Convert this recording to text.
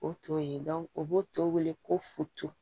O to ye o b'o tɔ wele ko futu